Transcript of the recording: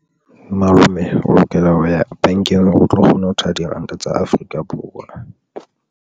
Malome o lokela ho ya bankeng o tlo kgone ho thola diranta tsa Afrika Borwa.